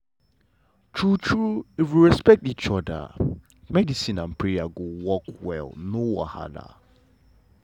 true true if we respect each oda medicine and prayer go work well no wahala.